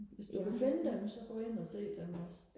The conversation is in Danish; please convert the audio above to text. hvis du kan finde dem så gå ind og se dem også